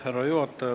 Härra juhataja!